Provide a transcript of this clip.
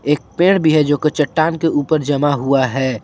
एक पेड़ भी है जो कि चट्टान के ऊपर जमा हुआ है ।